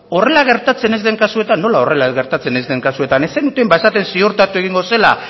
horrela gertatzen ez den kasuetan nola horrela gertatzen ez den kasuetan ez zenuten esaten ziurtatuko zela